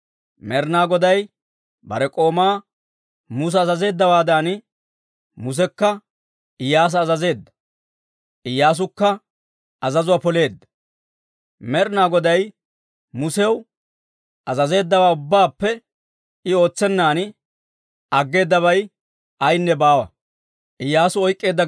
Med'ina Goday bare k'oomaa Musa azazeeddawaadan, Musekka Iyyaasa azazeedda. Iyyaasukka azazuwaa poleedda; Med'ina Goday Musew azazeeddawaa ubbaappe I ootsennan aggeedabay ayaynne baawa.